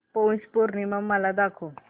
पौष पौर्णिमा मला दाखव